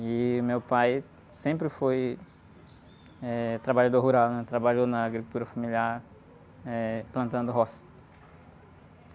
E o meu pai sempre foi, eh, trabalhador rural, né? Trabalhou na agricultura familiar, plantando roça.